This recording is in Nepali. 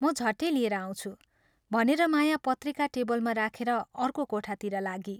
म झट्टै लिएर आउँछु " भनेर माया पत्रिका टेबलमा राखेर अर्को कोठातिर लागी।